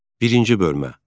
Birinci bölmə.